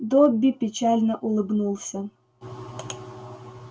добби печально улыбнулся